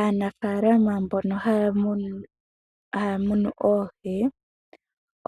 Aanafaalama mbono ha ya munu oohi,